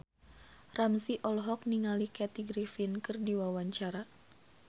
Ramzy olohok ningali Kathy Griffin keur diwawancara